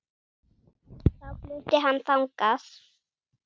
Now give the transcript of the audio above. Þá flutti hann þangað.